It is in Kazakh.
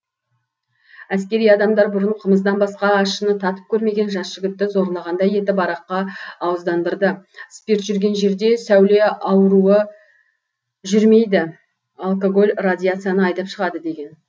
әскери адамдар бұрын қымыздан басқа ащыны татып көрмеген жас жігітті зорлағандай етіп араққа ауыздандырды спирт жүрген жерде сәуле ауруы жүрмейді алкоголь радиацияны айдап шығады деген